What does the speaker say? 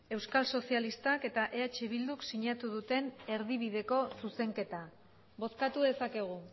euskal sozialistak eta eh bilduk sinatu duten erdibideko zuzenketa bozkatu dezakegu